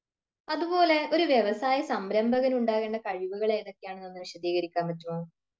അതുപോലെ ഒരു വ്യവസായ സംരംഭകന് ഉണ്ടാക്കേണ്ട കഴിവുകൾ ഏതൊക്കെയാണെന്ന് ഒന്ന് വിശദീകരിക്കാൻ പറ്റോ